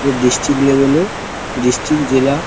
যে district level - এর। District জেলা--